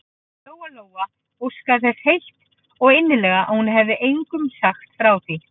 Lóa-Lóa óskaði þess heitt og innilega að hún hefði engum sagt frá því.